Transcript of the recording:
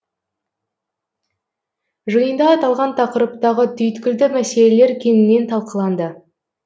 жиында аталған тақырыптағы түйткілді мәселелер кеңінен талқыланды